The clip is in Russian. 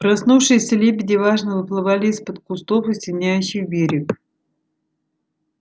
проснувшиеся лебеди важно выплывали из-под кустов осеняющих берег